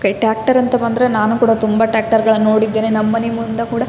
ಹೆಚ್ಚ್ಚಾಗಿ tractor ಗಳನ್ನೂ ಬಳಿಯೇ ಮಾಡಿ--